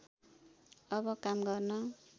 अब काम गर्न